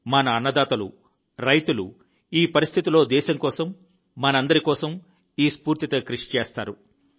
మన అన్నదాతలు రైతులు ఈ పరిస్థితిలో దేశం కోసం మనందరి కోసం ఈ స్ఫూర్తితో కృషి చేస్తారు